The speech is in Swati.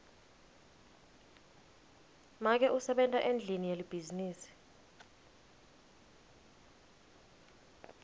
make usebenta endlini yelibhizinisi